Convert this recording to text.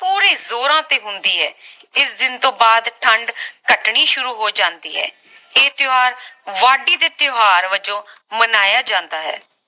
ਪੂਰੇ ਜੋਰਾਂ ਤੇ ਹੁੰਦੀ ਹੈ ਇਸ ਦਿਨ ਤੋਂ ਬਾਅਦ ਠੰਡ ਘਟਣੀ ਸ਼ੁਰੂ ਹੋ ਜਾਂਦੀ ਹੈ ਇਹ ਤਿਓਹਾਰ ਵਾਢੀ ਦੇ ਤਿਓਹਾਰ ਵਜੋਂ ਮਨਾਇਆ ਜਾਂਦਾ ਹੈ